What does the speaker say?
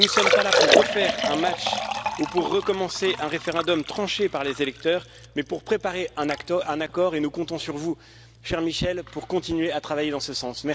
Nous ne sommes pas là pour refaire un match ou pour recommencer un référendum tranché par les électeurs, mais pour préparer un accord et nous comptons sur vous, cher Michel, pour continuer à travailler dans ce sens.